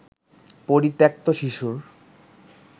পরিত্যক্ত শিশুর